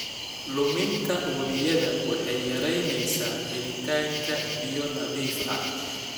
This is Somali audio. Luminta wabiyada waxay yaraynaysaa helitaanka biyo nadiif ah.